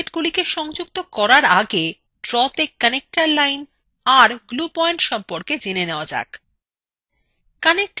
objectsগুলিকে সংযুক্ত করা আগে drawতে connector lines আর glue পয়েন্ট সম্পর্কে জেনে নেওয়া যাক